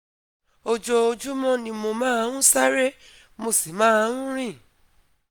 ojoojúmọ́ ni mo máa ń sáré, mo sì máa ń rìn